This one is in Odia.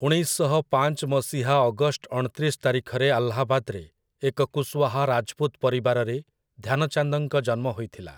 ଉଣେଇଶ ଶହ ପାଞ୍ଚ ମସିହା ଅଗଷ୍ଟ ଅଣତିରିଶ ତାରିଖରେ ଆହ୍ଲାବାଦରେ ଏକ କୁଶୱାହା ରାଜପୁତ ପରିବାରରେ ଧ୍ୟାନଚାନ୍ଦଙ୍କ ଜନ୍ମ ହୋଇଥିଲା ।